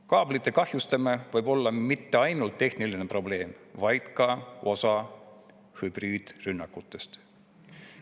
Kaablite kahjustamine võib olla mitte ainult tehniline probleem, vaid ka osa hübriidrünnakutest.